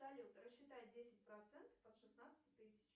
салют рассчитать десять процентов от шестнадцати тысяч